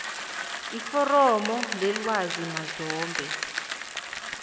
iforomo lelwazi mazombe